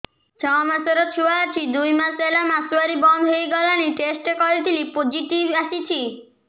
ଛଅ ମାସର ଛୁଆ ଅଛି ଦୁଇ ମାସ ହେଲା ମାସୁଆରି ବନ୍ଦ ହେଇଗଲାଣି ଟେଷ୍ଟ କରିଥିଲି ପୋଜିଟିଭ ଆସିଛି